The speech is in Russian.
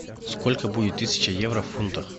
сколько будет тысяча евро в фунтах